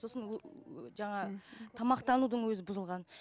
сосын ыыы жаңа мхм тамақтанудың өзі бұзылған